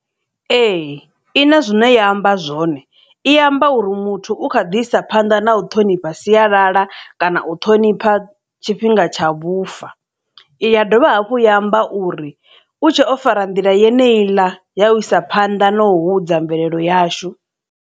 Ee i na zwine ya amba zwone i amba uri muthu u kha ḓi isa phanḓa na u ṱhonipha sialala kana u ṱhonipha tshifhinga tsha vhufa iya dovha hafhu ya amba uri u tshe o fara nḓila yeneyi i ḽa ya u isa phanḓa na u hudza mvelelo yashu.